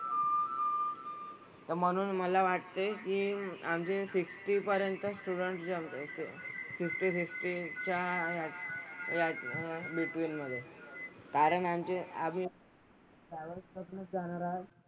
तर म्हणून मला वाटतंय की आमचे सिक्सटी पर्यंत स्टुडंट जे आमचे ते फिफ्टी, सिक्सटी च्या ह्या ह्या बिटवीन मधे असतील. कारण आमचे आम्ही प्रायव्हेट बसनेच जाणार आहोत.